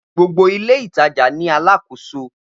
Gbogbo ile itaja ni aláàkòso.